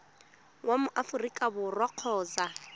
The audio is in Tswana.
wa mo aforika borwa kgotsa